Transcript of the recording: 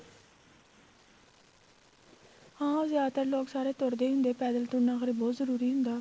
ਹਾਂ ਉਹ ਜਿਆਦਾਤਰ ਲੋਕ ਸਾਰੇ ਤੁਰਦੇ ਹੀ ਹੁੰਦੇ ਆ ਪੈਦਲ ਤੁਰਨਾ ਫ਼ੇਰ ਬਹੁਤ ਜਰੂਰੀ ਹੁੰਦਾ